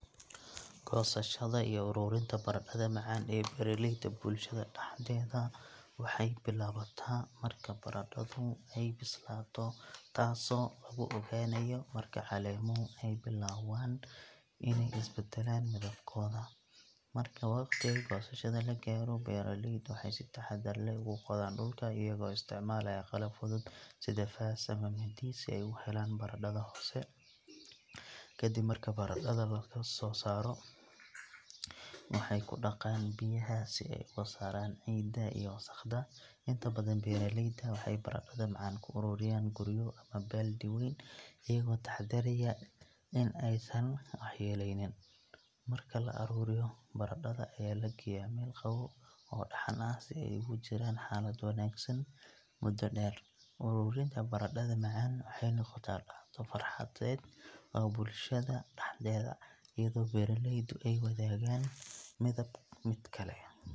Goosashada iyo ururinta baradhada macaan ee beeraleyda bulshada dhexdeeda waxay bilaabataa marka baradhadu ay bislaato, taasoo lagu ogaanayo marka caleemuhu ay bilowdaan inay isbeddelaan midabkooda. Marka waqtiga goosashada la gaaro, beeraleydu waxay si taxaddar leh ugu qodaan dhulka, iyagoo isticmaalaya qalab fudud sida faas ama mindi si ay u helaan baradhada hoose. Ka dib marka baradhada la soo saaro, waxay ku dhaqaan biyaha si ay uga saaraan ciidda iyo wasakhda. Inta badan, beeraleyda waxay baradhada macaan ku ururiyaan guryo ama baaldi weyn, iyagoo taxaddaraya in aysan waxyeelleynin. Marka la ururiyo, baradhada ayaa la geeyaa meel qabow oo dhaxan ah si ay ugu jiraan xaalad wanaagsan muddo dheer. Ururinta baradhada macaan waxay noqotaa dhacdo farxadeed oo bulshada dhexdeeda, iyadoo beeraleydu ay wadaagaan midba midka kale.